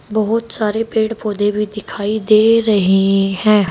बहोत सारे पेड़ पौधे भी दिखाई दे रहे हैं।